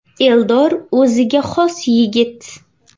Eldor o‘ziga xos yigit.